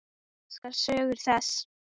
Ég elska sögur þess.